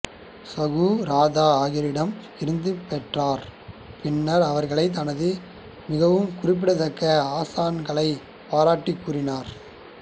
சகுரதா ஆகியோரிடம் இருந்து பெற்றார் பின்னர் அவர்களைத் தனது மிகவும் குறிப்பிடத்தக்க ஆசான்களாகப் பாராட்டிக் கூறினார்